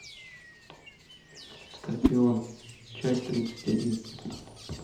скорпион часть тридцать один